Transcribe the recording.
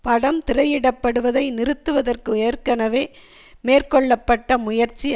படம் திரையிட படுவதை நிறுத்துவதற்கு ஏற்கனவே மேற்கொள்ள பட்ட முயற்சி